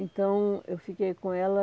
Então, eu fiquei com ela.